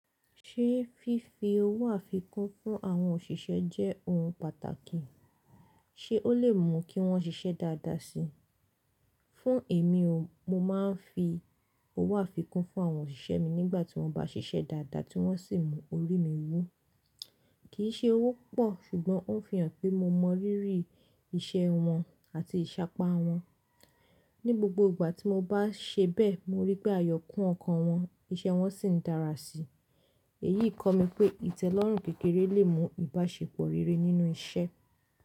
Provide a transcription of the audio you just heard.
Ṣé fífi owó àfikún fún àwọn òṣìṣẹ́ jẹ́ ohun pàtàkì? Ṣé ó lè mú kí wọ́n ṣiṣẹ́ dáadáa si? Fún èmi ò, mo máa ń fi owó àfikún fún àwọn òṣìṣẹ́ mi nígbà tí wọ́n bá ṣiṣẹ́ dáadáa tí wọ́n sì mú orí mi wú. Kì í ṣe owó púpọ̀ ṣùgbọ́n ó ń fi hàn pé mo mọ rírì iṣẹ́ wọn àti ìṣápá wọn. Ni gbogbo ìgbà tí mo bá ṣe bẹ́ẹ̀, mo rí pé àyọkún ọkàn wọn, iṣẹ́ wọn sì ń dára si. Èyí kọ́ mi pé ìtẹ́lọ́rùn kékeré lè mú ìbáṣepọ̀ rere nínú iṣẹ́.